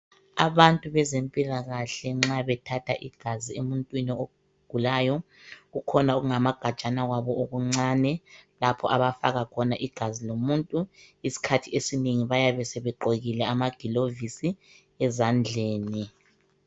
Abantu bezempilakahle nxa bethatha igazi emuntwini ogulayo kukhona okungamagajana kwabo okuncane lapho abafaka khona igazi lomuntu. Isikhathi esinengi bayabe sebegqokile amagilovisi ezandleni.